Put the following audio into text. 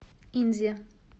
инзе